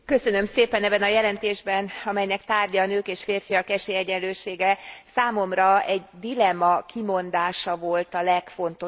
Ebben a jelentésben, amelynek tárgya a nők és férfiak esélyegyenlősége, számomra egy dilemma kimondása volt a legfontosabb.